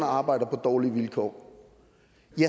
arbejder på dårlige vilkår